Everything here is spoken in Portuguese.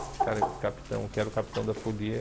O cara, o capitão, que era o capitão da folia.